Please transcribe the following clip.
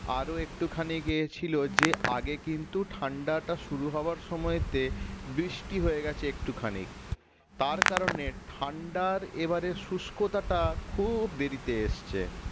আরো একটুখানি গিয়েছিল যে আগে কিন্তু ঠান্ডাটা শুরু হওয়ার সময়তে বৃষ্টি হয়ে গেছে একটুখানি তার কারনে ঠান্ডার এবারে শুষ্কতাটা খুব দেরিতে এসেছে